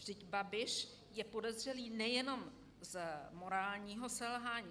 Vždyť Babiš je podezřelý nejenom z morálního selhání.